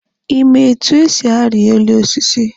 Ị ma etu esi ari elu osisi?